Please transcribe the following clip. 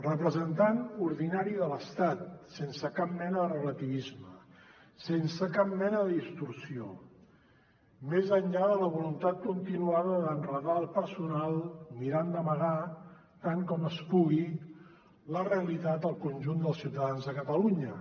representant ordinari de l’estat sense cap mena de relativisme sense cap mena de distorsió més enllà de la voluntat continuada d’enredar el personal mirant d’amagar tant com es pugui la realitat al conjunt dels ciutadans de catalunya